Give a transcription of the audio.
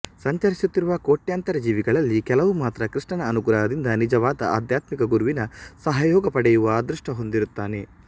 ಸಂಚರಿಸುತ್ತಿರುವ ಕೋಟ್ಯಾಂತರ ಜೀವಿಗಳಲ್ಲಿ ಕೆಲವು ಮಾತ್ರ ಕೃಷ್ಣನ ಅನುಗ್ರಹದಿಂದ ನಿಜವಾದ ಆಧ್ಯಾತ್ಮಿಕ ಗುರುವಿನ ಸಹಯೋಗ ಪಡೆಯುವ ಅದೃಷ್ಟ ಹೊಂದಿರುತ್ತಾನೆ